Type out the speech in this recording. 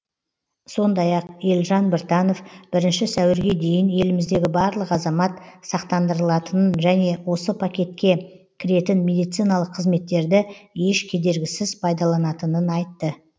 сондай ақ елжан біртанов бірінші сәуірге дейін еліміздегі барлық азамат сақтандырылатынын және осы пакетке кіретін медициналық қызметтерді еш кедергісіз пайдаланатынын айтты